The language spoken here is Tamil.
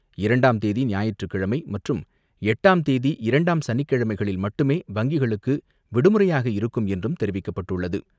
இரண்டாம் தேதி ஞாயிற்றுக் கிழமை மற்றும் எட்டாம் தேதி இரண்டாம் சனிக்கிழமைகளில் மட்டுமே வங்கிகளுக்கு விடுமுறையாக இருக்கும் என்றும் தெரிவிக்கப்பட்டுள்ளது.